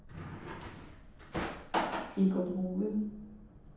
Egon Hove